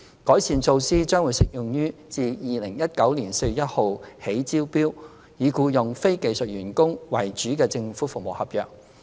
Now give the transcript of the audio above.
改善措施將適用於自2019年4月1日起招標，以僱用非技術員工為主的政府服務合約。